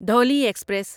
Dhauli express